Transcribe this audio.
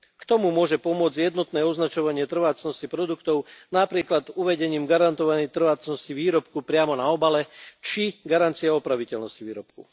K tomu môže pomôcť jednotné označovanie trvácnosti produktov, napríklad uvedením garantovanej trvácnosti výrobku priamo na obale, či garancia opraviteľnosti výrobku.